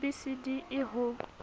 b c d e ho